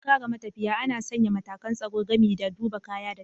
Don kare matafiya, ana sanya matakan tsaro gami da duba kaya da tantancewa.